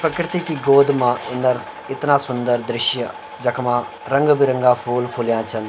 प्रकृति की गोद मा इनर इतना सुन्दर दृश्य जखमा रंग बिरंगा फूल फुल्या छन।